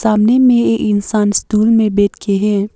सामने में एक इंसान स्टूल में बैठे के है।